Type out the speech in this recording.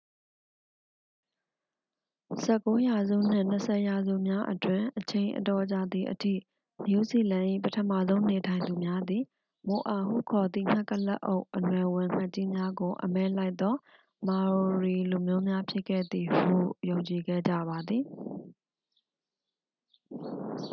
ဆယ့်ကိုးရာစုနှင့် နှစ်ဆယ်ရာစုများအတွင်း အချိန် အတော်ကြာသည်အထိ နယူးဇီလန်၏ ပထမဆုံးနေထိုင်သူများသည် မိုအာဟုခေါ်သည့် ငှက်ကုလားအုတ် အနွယ်ဝင်ငှက်ကြီးများကို အမဲလိုက်သော maori လူမျိုးများ ဖြစ်ခဲ့သည်ဟု ယုံကြည်ခဲ့ကြပါသည်